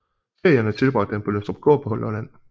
Ferierne tilbragte han på Lønstrupgård på Lolland